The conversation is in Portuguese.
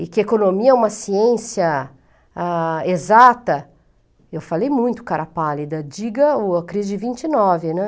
e que a economia é uma ciência a exata, eu falei muito, cara pálida, diga a crise de vinte e nove, né?